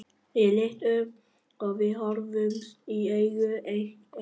Ég lít upp og við horfumst í augu eitt andartak.